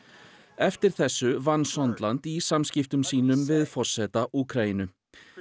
eftir þessu vann Sondland í samskiptum sínum við forseta Úkraínu